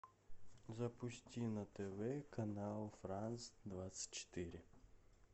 запусти на тв канал франс двадцать четыре